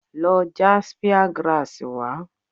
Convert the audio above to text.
Lọ já spear Grass wá!